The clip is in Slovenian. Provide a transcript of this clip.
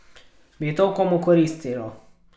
Bi to komu koristilo?